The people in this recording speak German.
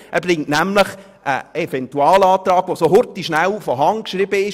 Er bringt nämlich einen Eventualantrag, der schnell von Hand geschrieben wurde.